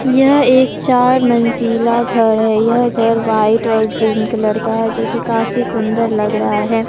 यह एक चार मंजिला घर है यह घर व्हाइट और ग्रीन कलर का है जोकि काफी सुंदर लग रहा है।